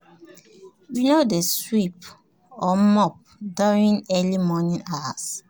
we no dey sweep or mop during early morning hours.